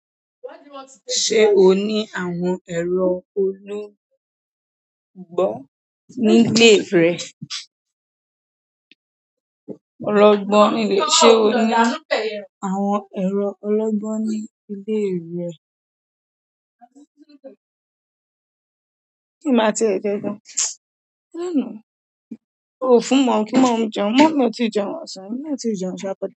Ṣé o ní àwọn ẹ̀rọ olungbo ní le rẹ? Ọlọ́gbọ́n, mi lè ṣe o ní àwọn ẹ̀rọ ológbó ní ìle rẹ? Kí n máa ti e ṣe gan. O fún moomi jẹun, momi o ti jẹun ọ̀sán, e mi na o ti jẹun sa.